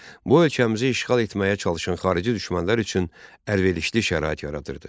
Bu ölkəmizi işğal etməyə çalışan xarici düşmənlər üçün əlverişli şərait yaradırdı.